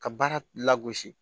Ka baara lagosi